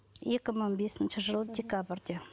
екі мың бесінші жылы декабрде